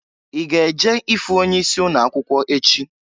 I ga-eje ifu onye isi ụnọ akwụkwọ echị?